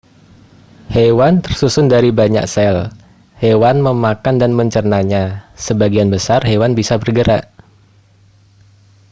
hewan tersusun dari banyak sel hewan memakan dan mencernanya sebagian besar hewan bisa bergerak